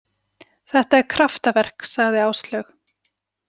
Þetta er kraftaverk, sagði Áslaug.